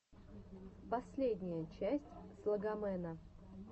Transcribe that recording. последняя часть слогомэна